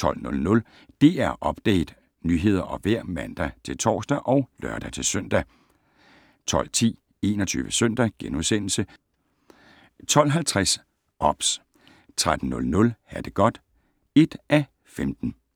12:00: DR Update - nyheder og vejr (man-tor og lør-søn) 12:10: 21 Søndag * 12:50: OBS 13:00: Ha det godt (1:15)